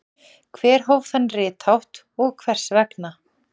hver hóf þann rithátt og hvers vegna